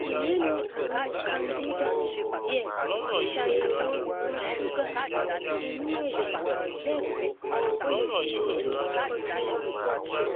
i lè ní ààrùn candida díẹ ṣàyẹwò ìwọn ṣúgà inú ẹjẹ lẹẹkan o lè gbìyànjú cotrimazole